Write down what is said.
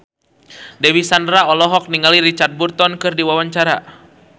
Dewi Sandra olohok ningali Richard Burton keur diwawancara